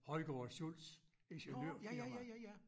Højgaard & Schultz ingeniørfirma